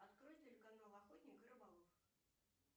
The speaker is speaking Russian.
открой телеканал охотник и рыболов